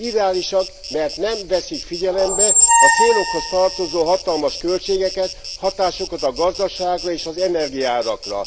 Irreálisak, mert nem veszik figyelembe a célokhoz tartozó hatalmas költségeket, hatásukat a gazdaságra és az energiaárakra.